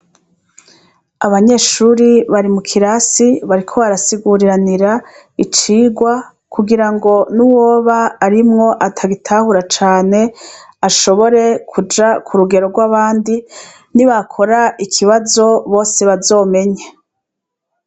Abanyeshure bari m' ikirasi bariko barasiguriranira icigwa kugirango n' uwob' arimw' atabitahura can' ashobore kuja kurugero rw'abandi kugira nibakor' ikibazo bose bazomenye.